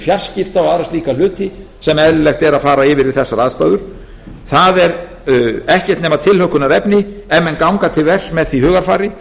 fjarskipta og aðra slíka hluti sem eðlilegt er að fara yfir við þessar aðstæður það er ekkert nema tilhlökkunarefni ef menn ganga til verks með því hugarfari